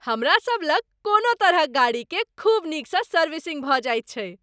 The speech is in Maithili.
हमरा सभलग कोनो तरहक गाड़ीकेँ खूब नीकसँ सर्विसिंग भऽ जाइत छै।